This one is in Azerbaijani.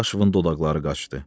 Dadaşovun dodaqları qaçdı.